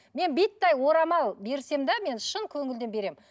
мен орамал берсем де мен шын көңілден беремін